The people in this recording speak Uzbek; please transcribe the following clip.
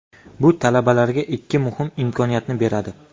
Bu talabalarga ikki muhim imkoniyatni beradi.